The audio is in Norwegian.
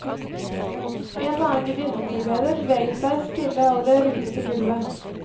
En og annen gudinnetilbeder beveget seg stille over det rutete gulvet.